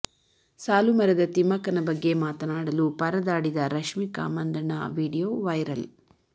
ಸಾಲು ಮರದ ತಿಮ್ಮಕ್ಕನ ಬಗ್ಗೆ ಮಾತನಾಡಲು ಪರದಾಡಿದ ರಶ್ಮಿಕಾ ಮಂದಣ್ಣ ವಿಡಿಯೋ ವೈರಲ್